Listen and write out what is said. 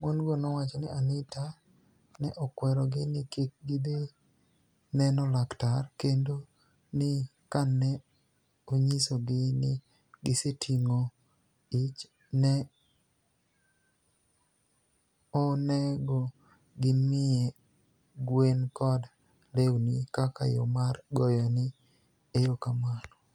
Moni - go nowacho nii Anitani e okwerogi nii kik gidhi ni eno laktar, kenido nii kani e oniyisogi nii gisetinig'o ich, ni e oni ego gimiye gweni kod lewnii kaka yo mar goyoni e erokamano.